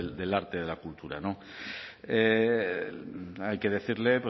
del arte y de la cultura hay que decirle